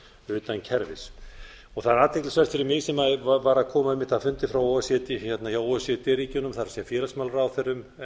utan kerfis það er athyglisvert fyrir mig sem var einmitt að koma af fundi o e c d ríkjunum það er félagsmálaráðherrum